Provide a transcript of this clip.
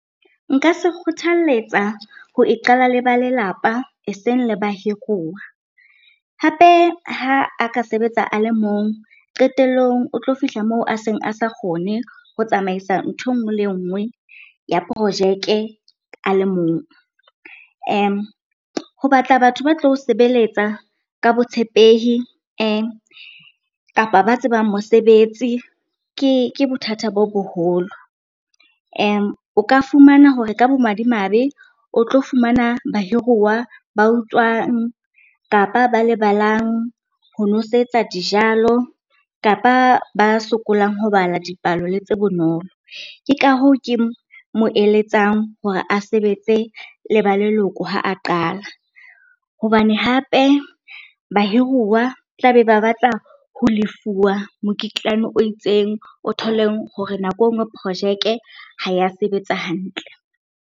Nka se kgothalletsa ho iqalla le ba lelapa e seng le bahiruwa. Hape ha a ka sebetsa a le mong, qetellong o tlo fihla moo a seng a sa kgone ho tsamaisa ntho e nngwe le nngwe ya projeke a le mong. Ho batla batho ba tlo o sebeletsa ka botshepehi kapa ba tsebang mosebetsi ke bothata bo boholo. O ka fumana hore ka bomadimabe o tlo fumana bahiruwa ba utswang, kapa ba lebalang ho nosetsa dijalo, kapa ba sokolang ho bala dipalo le tse bonolo. Ke ka hoo ke mo eletsang hore a sebetse le ba leloko ha a qala. Hobane hape, bahiruwa tla be ba batla ho lefuwa mokitlane o itseng, o thole hore nako e nngwe projeke ha ya sebetsa hantle.